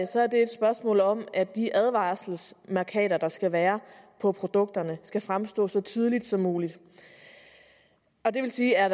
så er det et spørgsmål om at de advarselsmærkater der skal være på produkterne skal fremstå så tydeligt som muligt det vil sige at